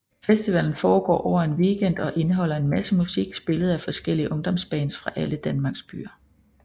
Festivalen foregår over en weekend og indeholder en masse musik spillet af forskellige ungdomsbands fra alle Danmarks byer